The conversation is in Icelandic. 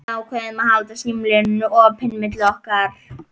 Við ákváðum að halda símalínunni opinni milli okkar.